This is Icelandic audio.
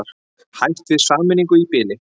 Hætt við sameiningu í bili